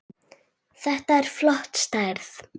Þetta er flott stærð.